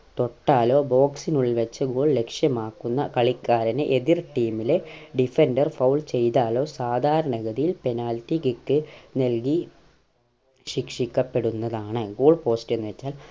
തോട്ടാലോ box നുള്ളിൽ വെച്ച് goal ലക്ഷ്യമാക്കുന്ന കളിക്കാരനെ എതിർ team ലെ defender foul ചെയ്‌താലോ സാധാരണ ഗതിയിൽ penalty kick നൽകി ശിക്ഷിക്കപ്പെടുന്നതാണ് goal post എന്നുവെച്ചാൽ